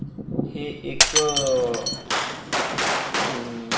हे एक हम्म --